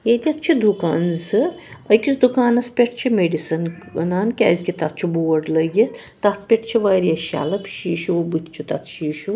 ییٚتٮ۪تھ چھ دُکان زٕأکِس دُکانس پٮ۪ٹھ چھ مڈیسن .کٔنان کیٛازِ کہ تَتھ چھ بورڈلٲگِتھ تَتھ پٮ۪ٹھ واریاہ شلف شیٖشوٗ بُتھہِ چُھ تَتھ شیٖشوٗ